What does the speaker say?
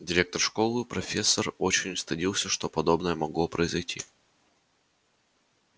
директор школы профессор диппет очень стыдился что подобное могло произойти